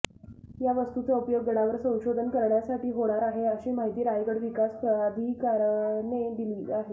या वस्तूचा उपयोग गडावर संशोधन करण्यासाठी होणार आहे अशी माहिती रायगड विकास प्राधिकारणाने दिली आहे